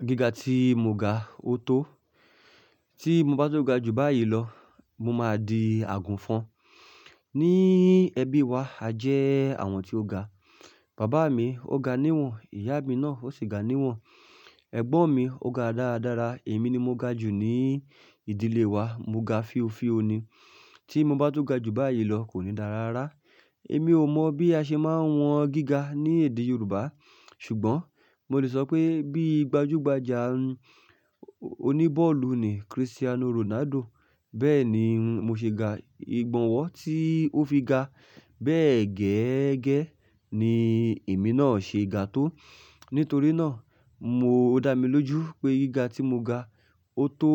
Gíga tí mo ga ó tó. Tí mo bá tún ga jù báyìí lọ, mo máa di àgùnfọn. Ní ẹbí wa a jẹ́ àwọn tí ó ga. Bàbá mi ó ga níwọ̀n, ìyá mi náà ó sì ga níwọ̀n, ẹ̀gbọ́n mi ó ga dáradára, èmi ni mo ga jù ní ìdílé wa, mo ga fíofío ni. Tí mo bá tó ga ju báyìí lọ kò ní dára rárá. Èmi ò mọ bí a ṣe máa ń wọn gíga ní èdè Yorùbá. Ṣùgbọ́n mo lè sọ pé bí gbajúgbajà oní bọ́ọ̀lù nì Cristiano Ronaldo, bẹ́ẹ̀ ni mo ṣe ga. Ìgbọ̀nwọ́ tí ó fi ga bẹ́ẹ̀ gẹ́gẹ́ ni èmi náà ṣe ga tó. Nítorí náà mo ó dá mi lójú pé gíga tí mo ga, ó tó